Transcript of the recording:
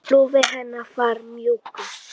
Lófi hennar var mjúkur.